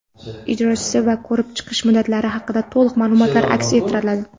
ijrochisi va ko‘rib chiqish muddatlari haqida to‘liq maʼlumotlar aks ettiriladi.